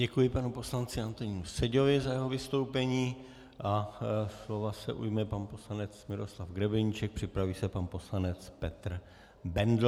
Děkuji panu poslanci Antonínu Seďovi za jeho vystoupení a slova se ujme pan poslanec Miroslav Grebeníček, připraví se pan poslanec Petr Bendl.